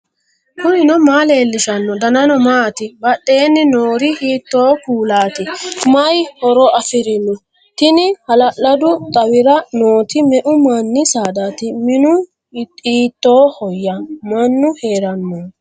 knuni maa leellishanno ? danano maati ? badheenni noori hiitto kuulaati ? mayi horo afirino ? tini hala'ladu xawira nooti me'u manni saaddaati minu hiitoohoyya mannu heerannoho